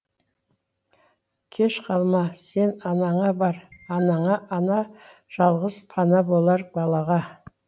кеш қалма сен анаңа бар анаңа ана жалғыз пана болар балаға